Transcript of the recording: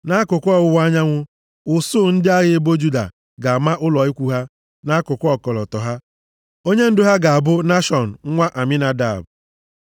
Nʼakụkụ ọwụwa anyanwụ, usuu ndị agha ebo Juda, ga-ama ụlọ ikwu ha nʼakụkụ ọkọlọtọ ha. Onyendu ha ga-abụ Nashọn nwa Aminadab.